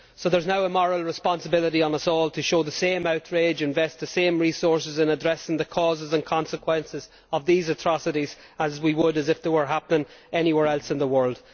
So there is now a moral responsibility on us all to show the same outrage and invest the same resources in addressing the causes and consequences of these atrocities as we would if they were happening anywhere else in the world.